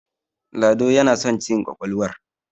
lado yana son cin ƙwaƙwalwar